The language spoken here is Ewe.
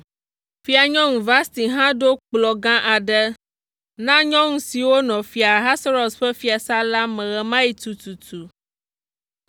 Fianyɔnu Vasti hã ɖo kplɔ̃ gã aɖe na nyɔnu siwo nɔ Fia Ahasuerus ƒe fiasã la me ɣe ma ɣi tututu.